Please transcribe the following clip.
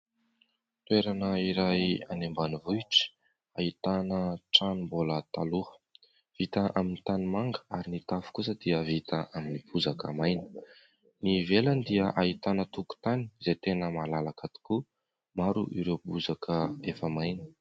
Toerana iray any ambanivohitra ahitana trano mbola taloha, vita amin'ny tanimanga ary ny tafo kosa dia vita amin'ny bozaka maina. Ny ivelany dia ahitana tokotany izay tena malalaka tokoa, maro ireo bozaka efa maina.